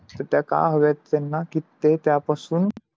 ते का हवे त्यांना कि ते त्या पासून